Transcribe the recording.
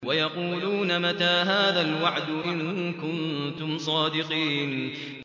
وَيَقُولُونَ مَتَىٰ هَٰذَا الْوَعْدُ إِن كُنتُمْ صَادِقِينَ